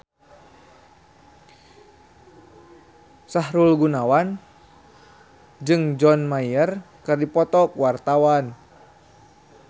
Sahrul Gunawan jeung John Mayer keur dipoto ku wartawan